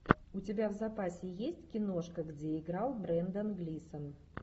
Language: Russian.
у тебя в запасе есть киношка где играл брендан глисон